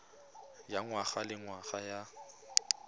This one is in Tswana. ya ngwaga le ngwaga ya